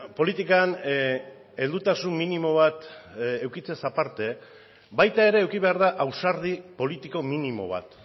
politikan heldutasun minimo bat edukitzeaz aparte baita ere eduki behar da ausardi politiko minimo bat